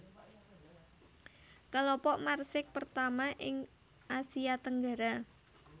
Kelompok Marsix pertama ing Asia Tenggara